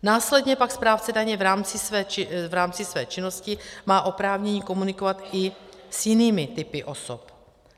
Následně pak správce daně v rámci své činnosti má oprávnění komunikovat i s jinými typy osob.